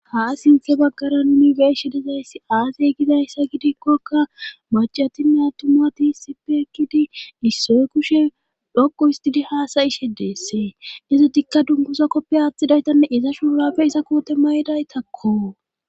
ha sinthe baggara nuni beyizays dizayssi aazey gidayssa gidikkokka macatime atuma tiisipe ekkidi issoy kushe dhoqu istidi haasayishe deessee izo dikka dumbusa koppe aaththidaytanne iza shuurapfe iza koote maydaytakko